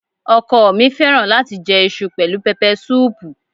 Ọkọ ọ̀ mi fẹ́ràn láti jẹ iṣu pẹ̀lú pẹpẹsúùpù.